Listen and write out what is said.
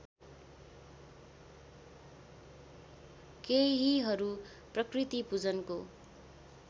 केहीहरू प्रकृतिपूजनको